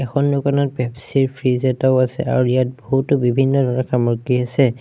এইখন দোকানত পেপচি ৰ ফ্ৰিজ এটাও আছে আৰু ইয়াত বহুতো বিভিন্ন ধৰণৰ সামগ্ৰী আছে।